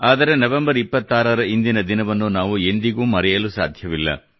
ಆದರೆ ನವೆಂಬರ್ 26 ಇಂದಿನ ದಿನವನ್ನು ನಾವು ಎಂದಿಗೂ ಮರೆಯಲು ಸಾಧ್ಯವಿಲ್ಲ